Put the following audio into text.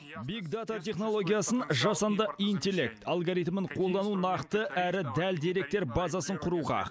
биг дата технологиясын жасанды интеллект алгоритмін қолдану нақты әрі дәл деректер базасын құруға